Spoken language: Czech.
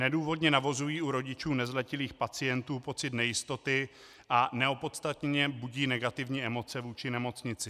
Nedůvodně navozují u rodičů nezletilých pacientů pocit nejistoty a neopodstatněně budí negativní emoce vůči nemocnici.